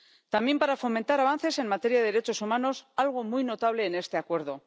también para fomentar avances en materia de derechos humanos, algo muy notable en este Acuerdo.